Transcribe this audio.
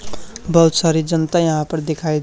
बहुत सारी जनता यहां पर दिखाई--